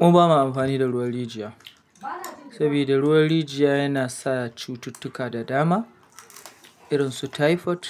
Mu ba ma amfani da ruwan rijiya, saboda ruwan rijiya yana sa cututtuka da dama irin su typhoid,